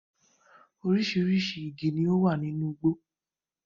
Oríṣiríṣi igi ni ó wà nínú igbó